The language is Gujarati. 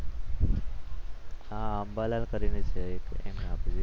આ અંબાલાલ કરીને છે એક એમણે આપી હતી